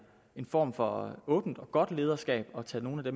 en form for åbent og godt lederskab at tage nogle af